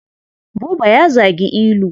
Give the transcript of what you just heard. Buba ya zagi Ilu.